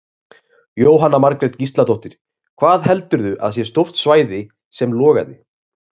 Jóhanna Margrét Gísladóttir: Hvað heldurðu að sé stórt svæði sem logaði?